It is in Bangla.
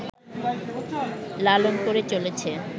লালন করে চলেছে